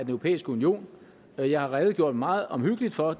europæiske union jeg jeg har redegjort meget omhyggeligt for